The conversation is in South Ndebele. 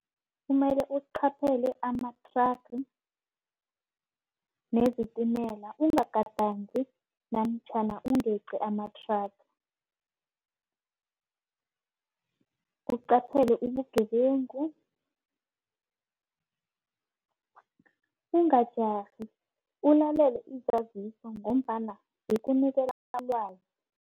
Kumele uqaphele amathraga nezitimela. Ungadangi namtjhana ungeqi amathraga. Uqaphele ubugebengu, ungajarhi ulalele izaziso ngombana zikunikela ilwazi.